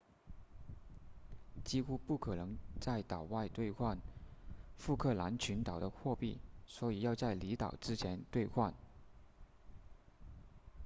几乎不可能在岛外兑换福克兰群岛的货币所以要在离岛之前兑换